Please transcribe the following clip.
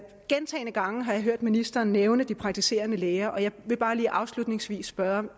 gentagne gange har jeg hørt ministeren nævne de praktiserende læger og jeg vil bare lige afslutningsvis spørge om